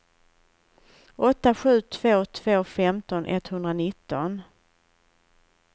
åtta sju två två femton etthundranitton